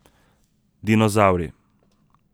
Dinozavri.